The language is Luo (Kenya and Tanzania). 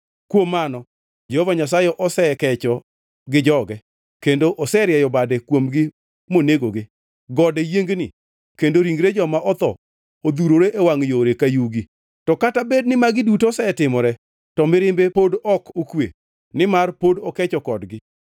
Kuom mano Jehova Nyasaye osekecho gi joge; kendo oserieyo bade kuomgi monegogi. Gode yiengni kendo ringre joma otho odhurore e wangʼ yore ka yugi. To kata bed ni magi duto osetimore, to mirimbe pod ok okwe, nimar pod okecho kodgi.